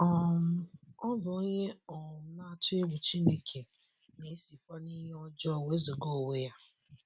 um Ọ bụ onye um na - atụ egwu Chineke, na - esikwa n’ihe ọjọọ wezụga onwe ya. ”